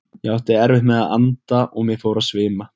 Ég átti erfitt með að anda og mig fór að svima.